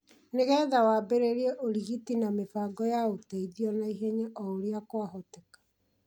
nĩ getha wambĩrĩrie ũrigiti na mĩbango ya ũteithio naihenya o ũrĩa kwahoteka